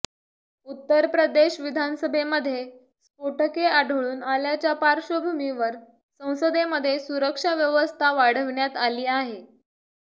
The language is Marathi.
उत्तर प्रदेश विधानसभेमध्ये स्फोटके आढळून आल्याच्या पार्श्वभूमीवर संसदेमध्ये सुरक्षा व्यवस्था वाढविण्यात आली आहे